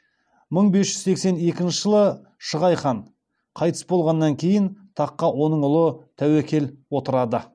мың бес жүз сексен екінші жылы шығай хан қайтыс болғаннан кейін таққа оның ұлы тәуекел отырады